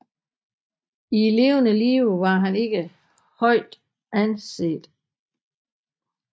I levende live var han ikke højt anset